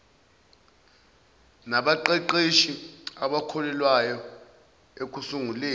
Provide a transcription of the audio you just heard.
nabaqeqeshi abakhokhelwayo ekusunguleni